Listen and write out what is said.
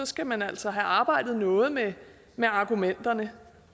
skal man altså have arbejdet noget med med argumenterne